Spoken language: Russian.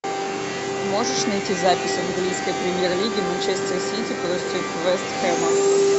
можешь найти запись английской премьер лиги манчестер сити против вест хэма